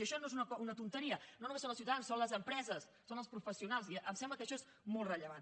i això no és una tonteria no només són els ciutadans són les empreses són els professionals i em sembla que això és molt rellevant